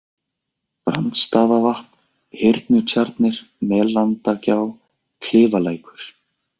Brandstaðavatn, Hyrnutjarnir, Melendagjá, Klifalækur